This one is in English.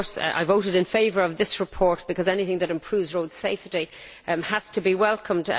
I voted in favour of this report because anything that improves road safety has to be welcomed.